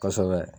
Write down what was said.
Kosɛbɛ